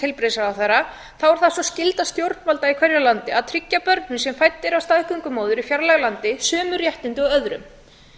heilbrigðisráðherra þá er það sú skylda stjórnvalda í hverju landi að tryggja börnum sem fædd eru af staðgöngumóður í fjarlægu landi sömu réttindi og öðrum